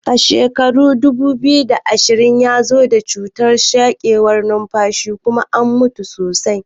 Shekarar dubu biyu da ashirin ya zo da cutar sarkewar nunfashi kuma an mutu sosai.